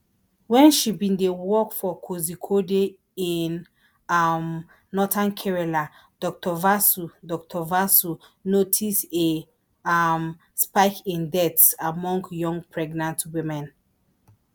wen she bin dey work for kozhikode in um northern kerala dr vasu dr vasu notice a um spike in deaths among young pregnant women